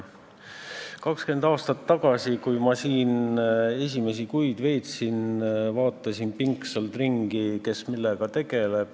20 aastat tagasi, kui ma siin esimesi kuid veetsin, vaatasin pingsalt ringi, kes millega tegeleb.